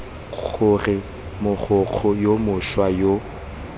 gore mogokgo yo mošwa yo